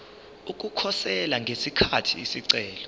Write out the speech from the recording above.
ukukhosela ngesikhathi isicelo